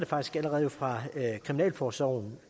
faktisk allerede fra kriminalforsorgen og